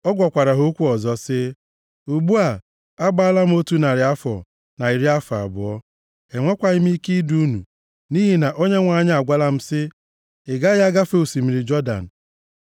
ọ gwakwara ha okwu ọzọ sị, “Ugbu a, agbaala m otu narị afọ na iri afọ abụọ! Enwekwaghị m ike idu unu, nʼihi na Onyenwe anyị agwala m sị, Ị gaghị agafe osimiri Jọdan.